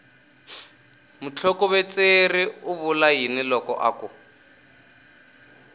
mutlhokovetseri u vula yini loko